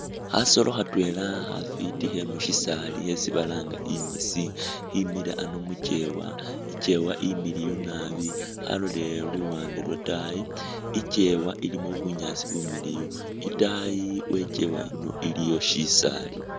Khasoolo khatwela khafwiti khe musisaali khesi balanga ingisi imile ano mukyeewa, ikyeewa limiliyu naabi, khalolele luwande lwetaayi, ikyeewa ilimo bunyaasi bumiliiyu, itaayi we ikyeewa ino iliyo shisaali.